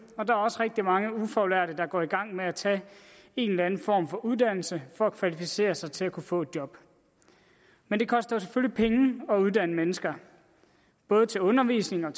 og der er også rigtig mange ufaglærte der går i gang med at tage en eller anden form for uddannelse for at kvalificere sig til at kunne få et job men det koster selvfølgelig penge at uddanne mennesker både til undervisning og